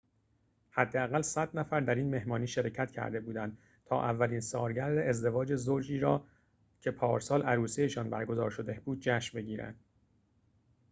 حداقل ۱۰۰ نفر در این مهمانی شرکت کرده بودند تا اولین سالگرد ازدواج زوجی را که پارسال عروسی‌شان برگزار شده بود جشن بگیرند